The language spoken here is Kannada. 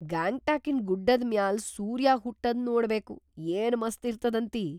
ಗ್ಯಾಂಗ್ಟಾಕಿನ್‌ ಗುಡ್ಡದ್‌ ಮ್ಯಾಲ್ ಸೂರ್ಯ ಹುಟ್ಟದ್‌ ನೋಡ್ಬೇಕು, ಏನ್‌ ಮಸ್ತ್‌ ಇರ್ತದಂತಿ.